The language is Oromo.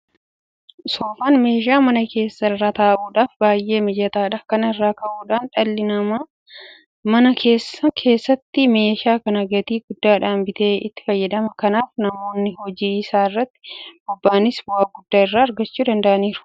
Soofaan meeshaa mana keessaa irra taa'uudhaaf baay'ee mijataadha. Kana irraa ka'uudhaan dhalli namaa mana isaa keessatti meeshaa kana gatii guddaadhaan bitee itti fayyadama. Kanaaf namoonni hojii isaa irratti bobba'anis bu'aa guddaa irraa argachuu danda'aniiru.